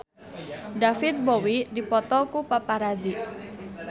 David Bowie dipoto ku paparazi